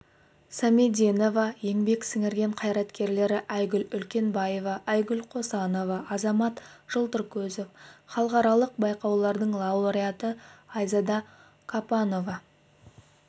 самединова еңбек сіңірген қайраткерлері айгүл үлкенбаева айгүл қосанова азамат жылтыркөзов халықаралық байқаулардың лауреаты айзада капонова